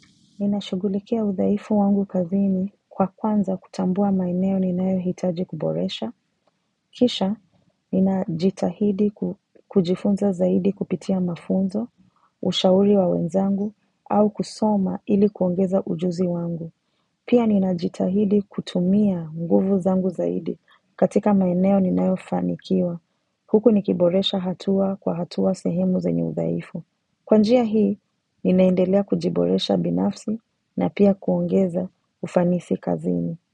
Ninashugulikia udhaifu wangu kazini kwa kwanza kutambua maeneo ninayohitaji kuboresha. Kisha, ninajitahidi kujifunza zaidi kupitia mafunzo, ushauri wa wenzangu, au kusoma ili kuongeza ujuzi wangu. Pia ninajitahidi kutumia nguvu zangu zaidi katika maeneo ninayofanikiwa. Huku nikiboresha hatua kwa hatua sehemu zenye udhaifu. Kwa njia hii, ninaendelea kujiboresha binafsi na pia kuongeza ufanisi kazini.